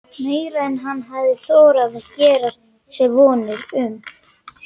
Meira en hann hafði þorað að gera sér vonir um.